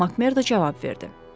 MacMerdo cavab verdi.